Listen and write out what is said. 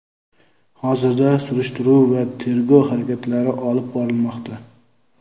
Hozirda surishtiruv va tergov harakatlari olib borilmoqda.